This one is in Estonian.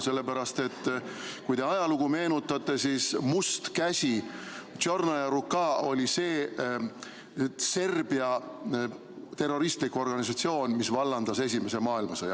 Sellepärast, et kui te ajalugu meenutate, siis Must Käsi – Чёрная рука – oli Serbia terroristlik organisatsioon, kes vallandas esimese maailmasõja.